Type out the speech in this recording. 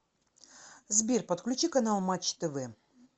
сбер подключи канал матч тв